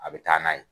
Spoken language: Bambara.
A bɛ taa n'a ye